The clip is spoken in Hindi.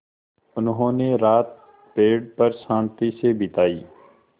उन्होंने रात पेड़ पर शान्ति से बिताई